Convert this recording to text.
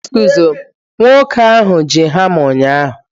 Nwoke ahụ ji hama ụnyahụ